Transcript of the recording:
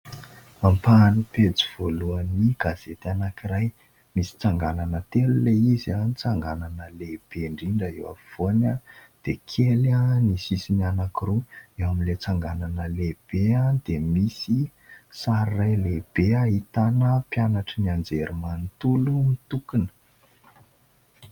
Ampahan'ny pejy voalohan'ny gazety anankiray misy tsanganana telo ilay izy : ny tsanganana lehibe ndrindra eo afovoany dia kely ny sisiny anankiroa, eo amin'ilany tsanganana lehibe dia misy sary iray lehibe ahitana mpianatry ny Anjerimanontolo nitokona.